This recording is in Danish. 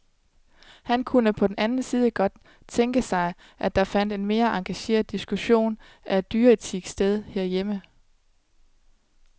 Han kunne på den anden side godt tænke sig, at der fandt en mere engageret diskussion af dyreetik sted herhjemme.